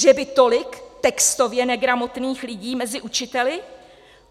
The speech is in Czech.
Že by tolik textově negramotných lidí mezi učiteli?